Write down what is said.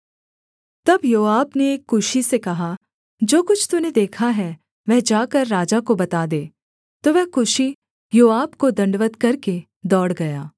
तब योआब ने एक कूशी से कहा जो कुछ तूने देखा है वह जाकर राजा को बता दे तो वह कूशी योआब को दण्डवत् करके दौड़ गया